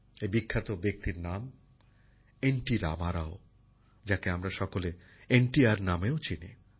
এই বিখ্যাত ব্যক্তির নাম এন টি রামারাও যাঁকে আমরা সকলে এন টি আর নামেও চিনি